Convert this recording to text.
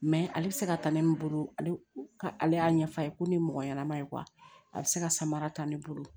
ale bɛ se ka ta ne min bolo ale y'a ɲɛfɔ a ye ko ni mɔgɔ ɲɛnama ye a bɛ se ka samara ta ne bolo